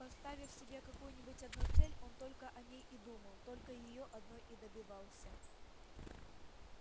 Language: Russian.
поставив себе какую-нибудь одну цель он только о ней и думал только её одной и добивался